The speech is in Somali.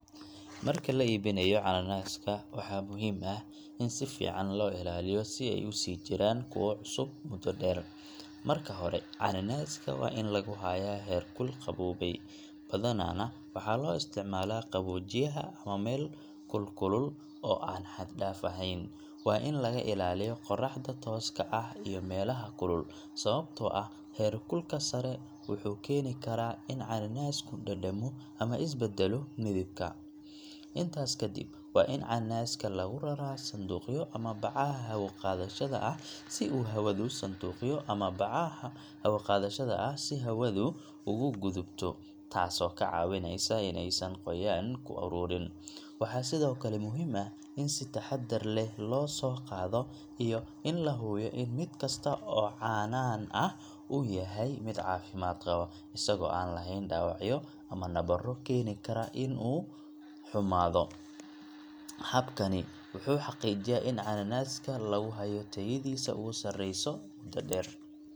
Marka la iibinayo canaanaska, waxaa muhiim ah in si fiican loo ilaaliyo si ay u sii jiraan kuwo cusub muddo dheer. Marka hore, canaanaska waa in lagu hayaa heerkul qaboobay, badanaana waxaa la isticmaalaa qaboojiyaha ama meel kulkulul oo aan xad dhaaf ahayn. Waa in laga ilaaliyo qorraxda tooska ah iyo meelaha kulul, sababtoo ah heerkulka sare wuxuu keeni karaa in canaanasku dhadhamo ama isbedelo midabka. Intaas ka dib, waa in canaanaska lagu raraa sanduuqyo ama bacaha hawo-qaadayaasha ah si uu hawadu ugu gudubto, taasoo ka caawinaysa in aysan qoyaan ku ururin. Waxaa sidoo kale muhiim ah in si taxaddar leh loo soo qaado iyo in la hubiyo in mid kasta oo canaan ah uu yahay mid caafimaad qaba, isagoo aan lahayn dhaawacyo ama nabarro keeni kara in uu xumaado. Habkani wuxuu xaqiijiyaa in canaanaska lagu hayo tayadiisa ugu sareysa muddo dheer.